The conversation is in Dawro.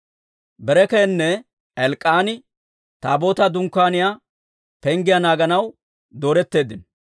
Berekiyaynne Elk'k'aani Taabootaa dunkkaaniyaa penggiyaa naaganaw dooretteeddino.